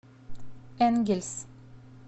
энгельс